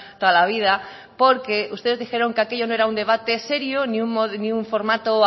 toda la vida porque ustedes dijeron que aquello no era un debate serio ni un formato